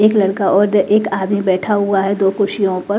एक लड़का और एक आदमी बैठा हुआ है दो कुर्सियों पर--